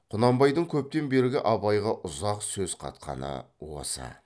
құнанбайдың көптен бері абайға ұзақ сөз қатқаны осы